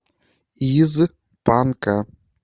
из панка